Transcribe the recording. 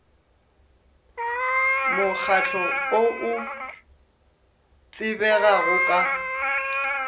mokgahlo o o tsebegago ka